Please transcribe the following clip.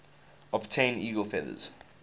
obtain eagle feathers